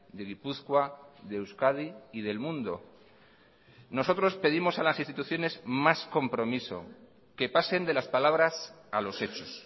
de gipuzkoa de euskadi y del mundo nosotros pedimos a las instituciones más compromiso que pasen de las palabras a los hechos